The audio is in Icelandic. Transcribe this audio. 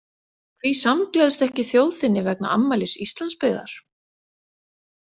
Hví samgleðstu ekki þjóð þinni vegna afmælis Íslandsbyggðar?